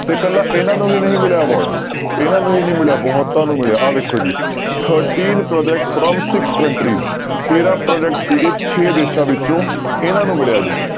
ਤੇ ਇਕੱਲਾ ਇਹਨਾਂ ਨੂੰ ਹੀ ਨਹੀਂ ਮਿਲਿਆ award ਇਹਨਾਂ ਨੂੰ ਹੀ ਨੀ ਮਿਲਿਆ ਬਹੁਤਾਂ ਨੂੰ ਮਿਲਿਆ ਆਹ ਵੇਖੋ ਜੀ thirteen projects from six countries ਤੇਰਾਂ project ਸੀਗੇ ਛੇ ਦੇਸਾਂ ਵਿੱਚੋਂ ਇਹਨਾਂ ਨੂੰ ਮਿਲਿਆ ਜੀ।